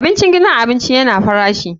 Abincin gidan abinci yana farashi.